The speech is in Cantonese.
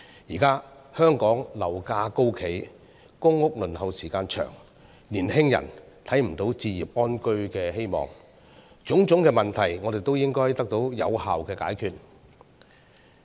現時香港樓價高企，公屋輪候時間長，年輕人看不到置業安居的希望，種種問題我們都應該得到有效的解決。